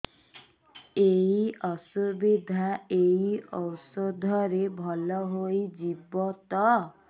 ଏଇ ଅସୁବିଧା ଏଇ ଔଷଧ ରେ ଭଲ ହେଇଯିବ ତ